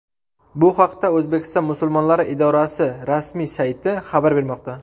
Bu haqda O‘zbekiston musulmonlari idorasi rasmi sayti xabar bermoqda.